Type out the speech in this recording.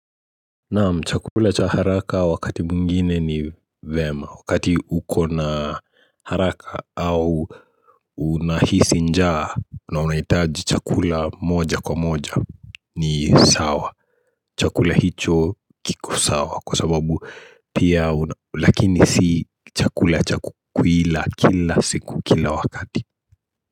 Chakula cha haraka wakati mwingine ni vema. Wakati uko na haraka au unahisi njaa na unahitaji chakula moja kwa moja ni sawa, chakula hicho kiko sawa. Kwa sababu pia Lakini si chakula cha kuila kila siku, kila wakati.